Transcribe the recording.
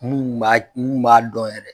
Mun b'a mun b'a dɔ yɛrɛ